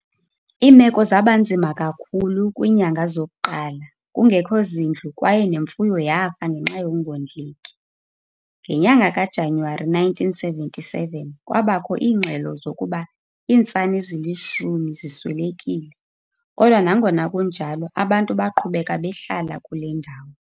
Iimeko zabanzima kakhulu kwiinyanga zok'qala, kungekho zindlu kwaye nemfuyo yafa ngenxa yokungondleki. Ngenyanga ka Januwari 1977 kwabakho iingxelo zokuba iintsana ezilishumi ziswelekile kodwa nangona kunjalo abantu baqhubeka behlala kule ndawo.